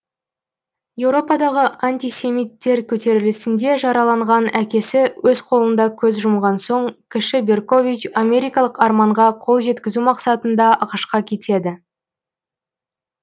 еуропадағы антисемиттер көтерілісінде жараланған әкесі өз қолында көз жұмған соң кіші беркович америкалық арманға қол жеткізу мақсатында ақш қа кетеді